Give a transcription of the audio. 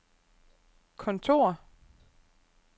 kontor